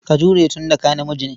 Ka jure tun da ka namiji ne.